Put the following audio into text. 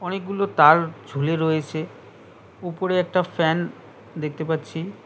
অনেকগুলো তার ঝুলে রয়েছে ওপরে একটা ফ্যান দেখতে পাচ্ছি।